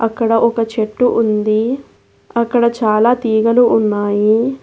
ఇక్కడ ఒక చెట్టు ఉంది అక్కడ చాలా తీగలు ఉన్నాయి.